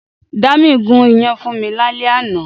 Dámi gùn iyán fún mi lálẹ́ àná